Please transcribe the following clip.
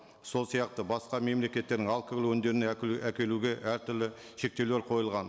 сол сияқты басқа мемлекеттердің алкоголь өнімдерін әкелуге әртүрлі шектеулер қойылған